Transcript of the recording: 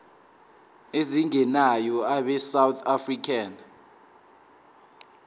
ezingenayo abesouth african